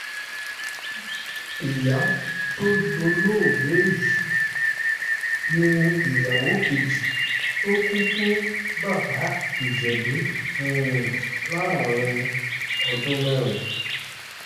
ìyá tó dolóògbé yìí ní ìyàwó kejì tó kù fún fún bàbá ìjẹ̀bù láàrin ọdún mẹ́rin